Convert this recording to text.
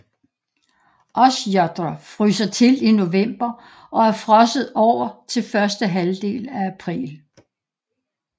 Osjotr fryser til i november og er frosset over til første halvdel af april